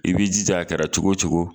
I bi jija a kɛra cogo cogo